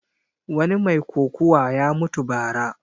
Wani mai kokuwa ya mutu ba ra